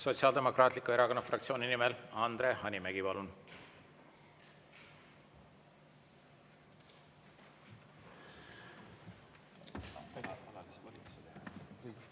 Sotsiaaldemokraatliku Erakonna fraktsiooni nimel Andre Hanimägi, palun!